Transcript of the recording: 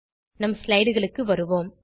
நம் slideகளுக்கு வருவோம்